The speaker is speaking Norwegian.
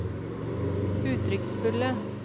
uttrykksfulle